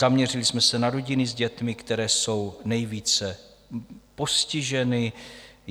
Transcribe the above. Zaměřili jsme se na rodiny s dětmi, které jsou nejvíce postiženy.